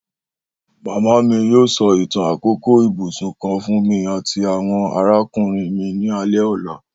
Mama mi yoo sọ itan akoko ibusun kan fun mi ati awọn arakunrin mi ni alẹ ọla